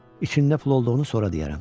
İçində pul olduğunu sonra deyərəm.